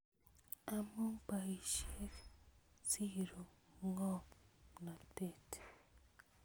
Amu boisiek, siru ngomnotet